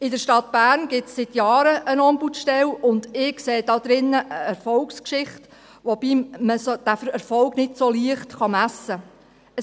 In der Stadt Bern gibt es seit Jahren eine Ombudsstelle, und ich sehe darin eine Erfolgsgeschichte, wobei man diesen Erfolg nicht so leicht messen kann.